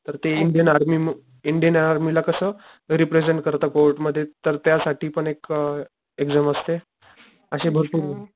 तर ते Indian army ला कस रीप्रेसेंट करत कोर्ट मग तर ते त्या साठी पण एक एक्साम असती. अशे भरपूर,